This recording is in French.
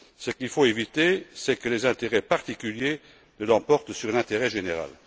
Ce qu'il faut éviter, c'est que les intérêts particuliers ne l'emportent sur l'intérêt général.